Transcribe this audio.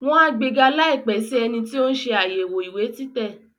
Wọ́n á gbega láìpẹ́ sí ẹni tí tò ń ṣe àyẹ̀wò ìwé títẹ̀